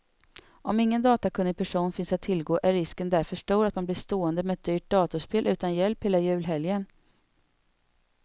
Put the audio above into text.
Om ingen datakunnig person finns att tillgå är risken därför stor att man blir stående med ett dyrt datorspel utan hjälp hela julhelgen.